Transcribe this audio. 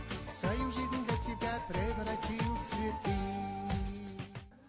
свою жизнь для тебя превратил в цветы